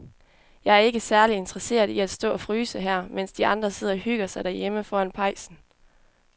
Jeg er ikke særlig interesseret i at stå og fryse her, mens de andre sidder og hygger sig derhjemme foran pejsen.